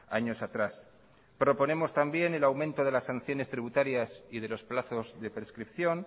años atrás proponemos también el aumento de las sanciones tributarias y de los plazos de prescripción